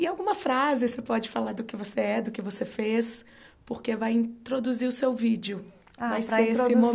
E alguma frase, você pode falar do que você é, do que você fez, porque vai introduzir o seu vídeo, ah para introduzir vai ser esse